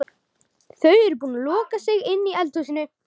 Þau eru búin að loka sig inni í eldhúsinu.